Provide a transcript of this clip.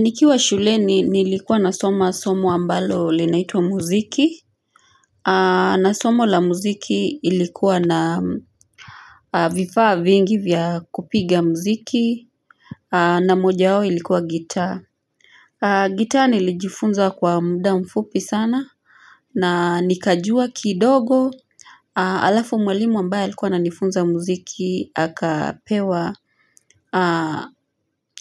Nikiwa shuleni nilikuwa nasoma somo ambalo linaitwa muziki na somo la muziki ilikuwa na vifaa vingi vya kupiga muziki na moja wao ilikuwa gitaa gitaa nilijifunza kwa mda mfupi sana na nikajua kidogo Alafu mwalimu ambaye alikuwa ananifunza muziki akapewa